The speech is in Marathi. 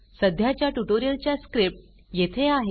सध्याच्या ट्युटोरियलच्या स्क्रिप्ट येथे आहे